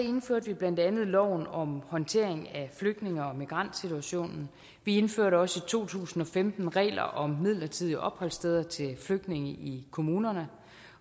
vi blandt andet loven om håndtering af flygtninge og migrantsituationen vi indførte også i to tusind og femten regler om midlertidige opholdssteder til flygtninge i kommunerne